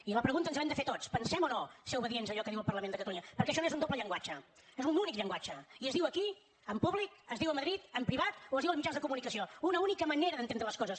i la pregunta ens l’hem de fer tots pensem o no ser obedients a allò que diu el parlament de catalunya perquè això no és un doble llenguatge és un únic llenguatge i es diu aquí en públic es diu a madrid en privat o es diu als mitjans de comunicació una única manera d’entendre les coses